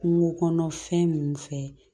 Kungo kɔnɔ fɛn min fɛ